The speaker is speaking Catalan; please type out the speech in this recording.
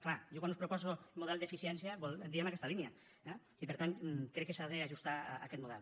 clar jo quan us proposo model d’eficiència vol dir en aquesta línia eh i per tant crec que s’ha d’ajustar aquest model